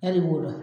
Yali wo